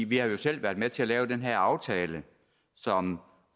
vi har jo selv været med til at lave den her aftale som